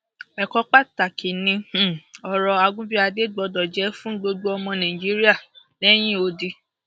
ẹkọ pàtàkì ni um ọrọ àgùnbíàdé gbọdọ jẹ fún gbogbo ọmọ nàìjíríà um lẹyìn odi